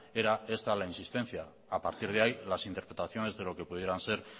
era esta la insistencia a partir de ahí las interpretaciones de lo que pudieran ser